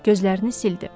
Gözlərini sildi.